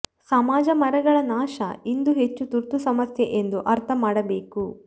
ಸಮಾಜ ಮರಗಳ ನಾಶ ಇಂದು ಹೆಚ್ಚು ತುರ್ತು ಸಮಸ್ಯೆ ಎಂದು ಅರ್ಥ ಮಾಡಬೇಕು